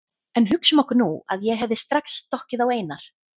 En hugsum okkur nú að ég hefði strax stokkið á Einar